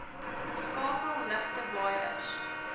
skakel ligte waaiers